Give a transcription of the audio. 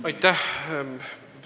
Aitäh!